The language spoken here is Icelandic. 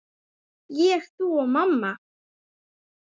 Ég, þú og mamma.